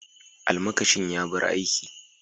Almakashin ya bar aiki.